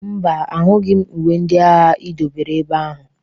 Mba, ahụghị m uwe ndị agha i dobere ebe ahụ.